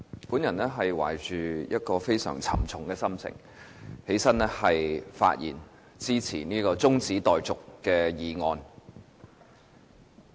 主席，我懷着非常沉重的心情站起來發言支持這項中止待續議案。